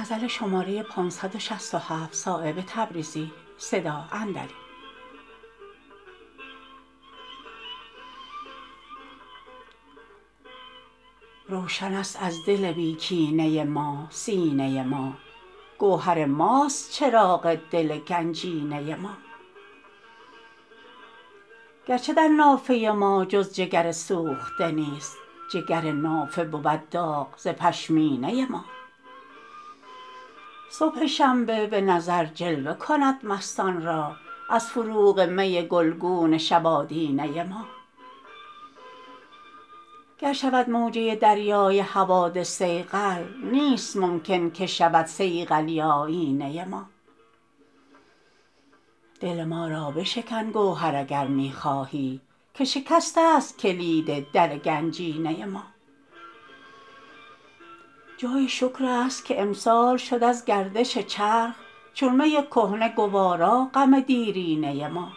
روشن است از دل بی کینه ما سینه ما گوهر ماست چراغ دل گنجینه ما گرچه در نافه ما جز جگر سوخته نیست جگر نافه بود داغ ز پشمینه ما صبح شنبه به نظر جلوه کند مستان را از فروغ می گلگون شب آدینه ما گر شود موجه دریای حوادث صیقل نیست ممکن که شود صیقلی آیینه ما دل ما را بشکن گوهر اگر می خواهی که شکست است کلید در گنجینه ما جای شکرست که امسال شد از گردش چرخ چون می کهنه گوارا غم دیرینه ما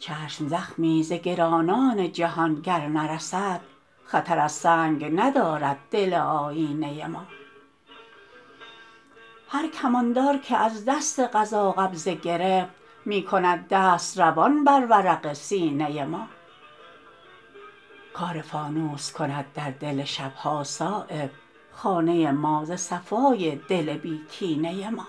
چشم زخمی ز گرانان جهان گر نرسد خطر از سنگ ندارد دل آیینه ما هر کماندار که از دست قضا قبضه گرفت می کند دست روان بر ورق سینه ما کار فانوس کند در دل شبها صایب خانه ما ز صفای دل بی کینه ما